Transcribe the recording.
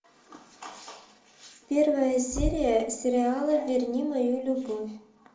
первая серия сериала верни мою любовь